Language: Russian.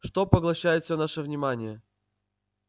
что поглощает всё наше внимание